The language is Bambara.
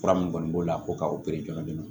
Fura min kɔni b'o la ko k'a opere jɔnjɔn